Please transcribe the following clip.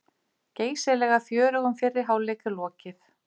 Geysilega fjörugum fyrri hálfleik er lokið